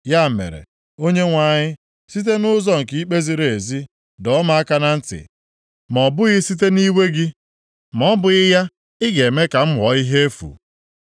Ya mere, Onyenwe anyị, site nʼụzọ nke ikpe ziri ezi dọọ m aka na ntị, ma ọ bụghị site nʼiwe gị, ma ọ bụghị ya, ị ga-eme ka m ghọọ ihe efu.